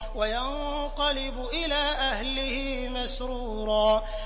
وَيَنقَلِبُ إِلَىٰ أَهْلِهِ مَسْرُورًا